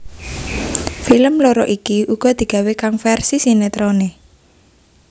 Film loro iki uga digawé kang versi sinetroné